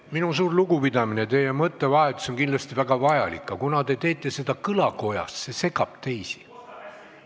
Minu suur lugupidamine, teie mõttevahetus on kindlasti väga vajalik, aga kuna te teete seda kõlakojas, siis see segab teisi.